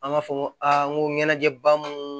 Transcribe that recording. An b'a fɔ ko aa n ko ɲɛnajɛ ba munnu